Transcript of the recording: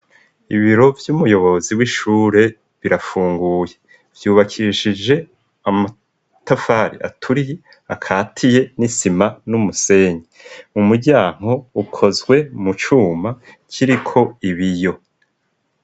Ibiro vy'umuyobozi w'ishure birafunguye vyubakishije amatafare aturie akatiye n'isima n'umusenyi, umuryanko ukozwe mu cuma kiriko ibiyo.